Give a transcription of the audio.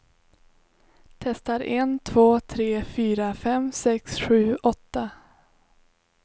Testar en två tre fyra fem sex sju åtta.